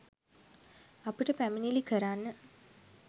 අපිට පැමිණිලි කරන්න